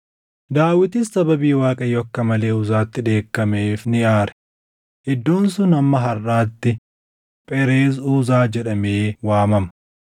Daawitis sababii Waaqayyo akka malee Uzaatti dheekkameef ni aare; iddoon sun hamma harʼaatti Phereez Uzaa + 13:11 Phereez Uzaa jechuun galaafatamuu jechuu dha. jedhamee waamama.